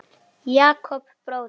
Jakob bróðir.